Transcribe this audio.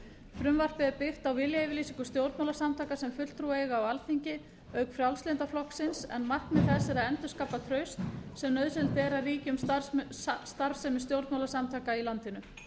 frumvarpið er byggt á viljayfirlýsingu stjórnmálasamtaka sem fulltrúa eiga á alþingi auk frjálslynda flokksins en markmið þess er að endurskapa traust sem nauðsynlegt er að ríki um starfsemi stjórnmálasamtaka í landinu